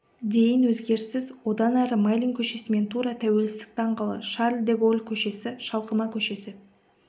дейін өзгеріссіз одан әрі майлин көшесімен тура тәуелсіздік даңғылы шарль де голль көшесі шалқыма көшесі